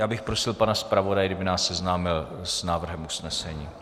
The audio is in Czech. Já bych prosil pana zpravodaje, kdyby nás seznámil s návrhem usnesení.